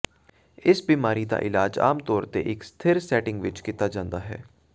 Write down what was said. ਇਸ ਬਿਮਾਰੀ ਦਾ ਇਲਾਜ ਆਮ ਤੌਰ ਤੇ ਇੱਕ ਸਥਿਰ ਸੈਟਿੰਗ ਵਿੱਚ ਕੀਤਾ ਜਾਂਦਾ ਹੈ